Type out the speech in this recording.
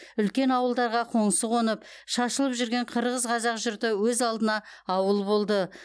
үлкен ауылдаға қоңсы қонып шашылып жүрген қырғыз қазақ жұрты өз алдына ауыл болды